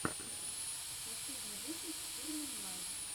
последний выпуск сурман лайв